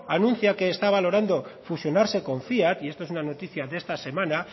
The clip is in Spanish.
anuncia que está valorando fusionarse con fiat y esto es una noticia de esta semana